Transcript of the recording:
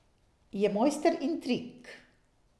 Je mojster intrig!